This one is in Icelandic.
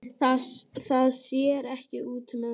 Það sér ekki útúr augum.